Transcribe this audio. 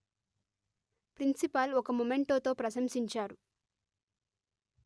principal ఒక మొమెంటోతో ప్రశంసించారు